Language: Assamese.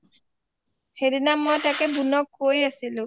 সেইদিনা মই বুনক তাকেই কৈ আছিলোঁ